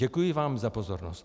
Děkuji vám za pozornost.